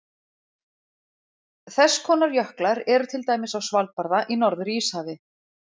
Þess konar jöklar eru til dæmis á Svalbarða í Norður-Íshafi.